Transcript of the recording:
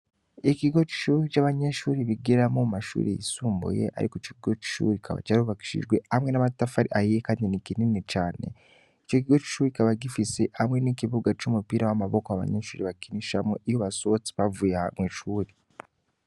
Ikogo c'ishuri c'abanyeshuri bigiramwo mu mashure yisumbuye, ariko ico kigo c'ishuri kikaba carubakishijewe hamwe n'amatafari ahiye kandi ni kinini cane. Ico kigo c'ishuri kikaba gifise hamwe n'ikibuga c'umupira w'amaboko abanyeshure bakinishamwo iyo basohotse bavuye ahantu mw'ishuri.